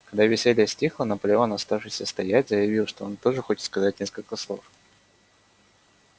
когда веселье стихло наполеон оставшийся стоять заявил что он тоже хочет сказать несколько слов